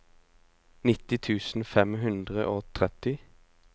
nitti tusen fem hundre og tretti